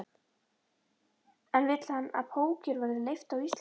En vill hann að póker verði leyft á Íslandi?